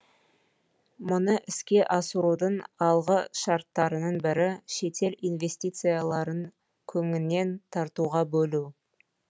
мұны іске асырудың алғы шарттарының бірі шетел инвестицияларын кеңінен тартуға бөлу